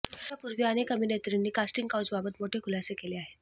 यापूर्वी अनेक अभिनेत्रींनी कास्टिंग काऊचबाबत मोठे खुलासे केले आहेत